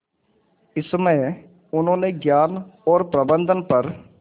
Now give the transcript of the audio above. इसमें उन्होंने ज्ञान और प्रबंधन पर